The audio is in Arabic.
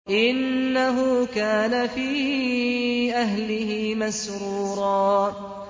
إِنَّهُ كَانَ فِي أَهْلِهِ مَسْرُورًا